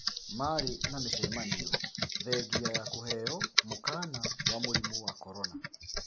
Marĩ na mĩcemanio thengia ya kũheo mũkana wa mũrimu wa korona